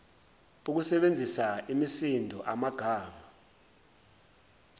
ukusebenzisa imisindo amagama